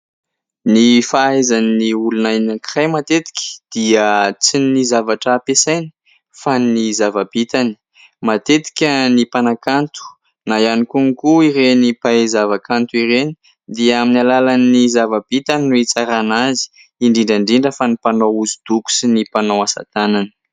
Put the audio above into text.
Ny fahaizan'ny olona anankiray matetika dia tsy ny zavatra ampiasainy fa ny zava-bitany, matetika ny mpanakanto na ihany koa ireny mpahay zava-kanto ireny dia amin'ny alalan'ny zava-bitany no hitsarana azy indrindra indrindra fa ny mpanao hosodoko sy ny mpanao asa tanana.